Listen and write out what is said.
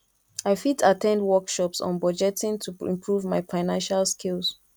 i fit at ten d workshops on budgeting to improve my financial skills